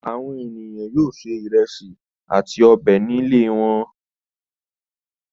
Àwọn ènìyàn yóò se ìrẹsì àti ọbẹ̀ ní ilé wọn.